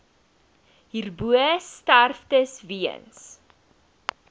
hierbo sterftes weens